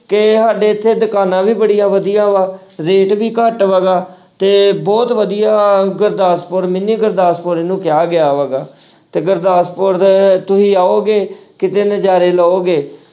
ਕਿ ਸਾਡੇ ਇੱਥੇ ਦੁਕਾਨਾਂ ਵੀ ਬੜੀਆਂ ਵਧੀਆ ਵਾ rate ਵੀ ਘੱਟ ਹੈਗਾ ਤੇ ਬਹੁਤ ਵਧੀਆ ਗੁਰਦਾਸਪੁਰ mini ਗੁਰਦਾਸਪੁਰ ਇਹਨੂੰ ਕਿਹਾ ਗਿਆ ਹੈਗਾ ਤੇ ਗੁਰਦਾਸਪੁਰ ਦੇ ਤੁਸੀਂ ਆਓਗੇ ਕਿਤੇ ਨਜ਼ਾਰੇ ਲਓਗੇ।